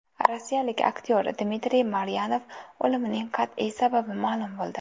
Rossiyalik aktyor Dmitriy Maryanov o‘limining qat’iy sababi ma’lum bo‘ldi.